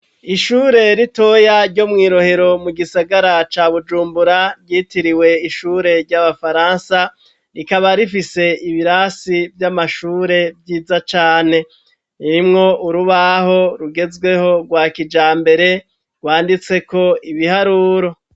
Ishure ritoya ryo mwi Rohero mu gisagara ca Bujumbura ryitiriwe ishure ry'abafaransa rikaba rifise ibirasi vy'amashure vyiza cane irimwo urubaho rugezweho rwa kijambere rwanditseko ibiharuro